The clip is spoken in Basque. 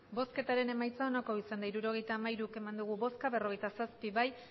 emandako botoak hirurogeita hamairu bai berrogeita zazpi ez